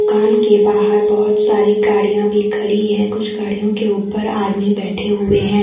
कान के बाहर बहोत सारी गाड़ियां भी खड़ी है कुछ गाड़ियों के ऊपर आदमी बैठे हुए हैं।